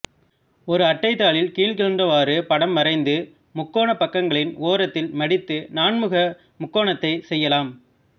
ஒரு அட்டைத்தாளில் கீழ்க்கண்டவாறு படம் வரைந்து முக்கோணப் பக்கங்களின் ஓரத்தில் மடித்து நான்முக முக்கோணகத்தைச் செய்யலாம்